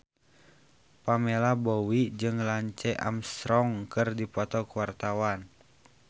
Pamela Bowie jeung Lance Armstrong keur dipoto ku wartawan